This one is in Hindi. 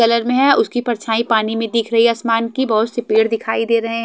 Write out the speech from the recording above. कलर में है उसकी परछाई पानी में दिख रही है आसमान की बहुत सी पेड़ दिखाई दे रहे।